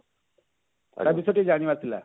ତା ବିଷୟରେ ଟିକେ ଜାଣିବାର ଥିଲା